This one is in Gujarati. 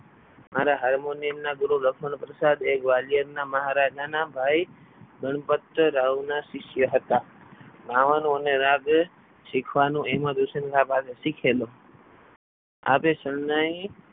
મારા હારમાં નિયમના ગુરુ લખમણ પ્રસાદ ગ્વાલિયરના મહારાજા ના ભાઈ ગણપત રાવના શિષ્ય હતા ગાવાનું અને રાગ શીખેલો આપે શરણાઈ.